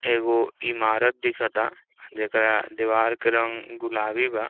एगो इमारत दिखता जेकरा दीवार के रंग गुलाबी बा।